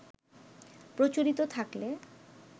প্রচলিত থাকলে